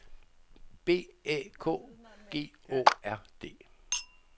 B Æ K G A A R D